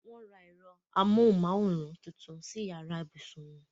Wọ́n ra ẹ̀rọ-amóhùnmáwòrán tuntun sí yàrá ibùsùn wọn.